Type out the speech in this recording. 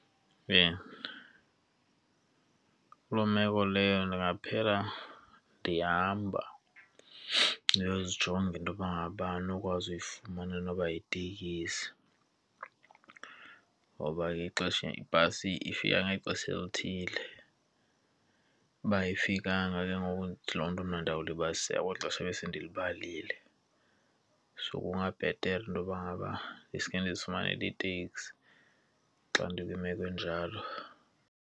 Kuloo meko leyo ndingaphela ndihamba ndiyozijonga intoba ngabana andinokwazi uyifumana noba yitekisi. Ngoba ke ixesha ibhasi ifika ngexesha elithile, uba ayifikanga ke ngoku ithi loo nto mna ndiyawulibaziseka kweli xesha ebesendilibalile. So kungabhetele intoba ngaba ndisuke ndizifumane itaxi xa ndikwimeko enjalo.